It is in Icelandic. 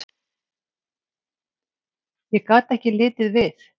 Ég gat ekki litið við.